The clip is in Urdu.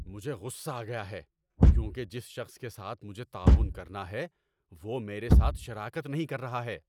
مجھے غصہ آ گیا ہے کیونکہ جس شخص کے ساتھ مجھے تعاون کرنا ہے وہ میرے ساتھ شراکت نہیں کر رہا ہے۔